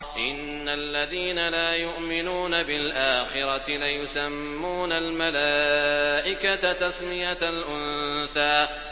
إِنَّ الَّذِينَ لَا يُؤْمِنُونَ بِالْآخِرَةِ لَيُسَمُّونَ الْمَلَائِكَةَ تَسْمِيَةَ الْأُنثَىٰ